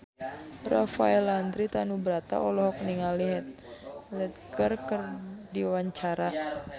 Rafael Landry Tanubrata olohok ningali Heath Ledger keur diwawancara